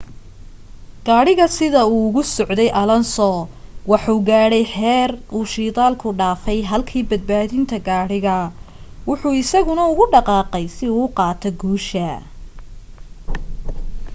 gadhiga sida uu ugu socday alonso wuxu gaadhay xeer uu shidaalka dhafay halki badbadinta gaadhiga wuxuu isagana ugu dhaqaqay si uu qaato guusha